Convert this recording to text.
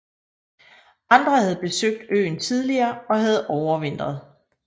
Andre havde besøgt øen tidligere og havde overvintret